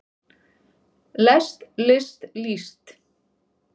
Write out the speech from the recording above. lest list líst